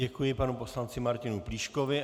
Děkuji panu poslanci Martinu Plíškovi.